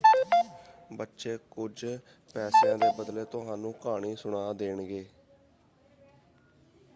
ਬੱਚੇ ਕੁੱਝ ਪੈਸਿਆਂ ਦੇ ਬਦਲੇ ਤੁਹਾਨੂੰ ਕਹਾਣੀ ਸੁਣਾ ਦੇਣਗੇ।